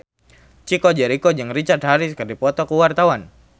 Chico Jericho jeung Richard Harris keur dipoto ku wartawan